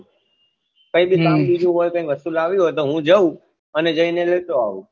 કઈબી હમ કામ બીજું હોય કઈ વસ્તુ લાવી હોય તો હું જાઉં અને જઈ નઈ લેતો આવું